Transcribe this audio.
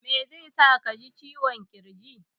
Mai zai sa ka ji ciwon ƙirji?